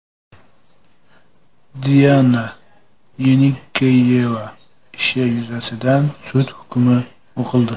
Diana Yenikeyeva ishi yuzasidan sud hukmi o‘qildi .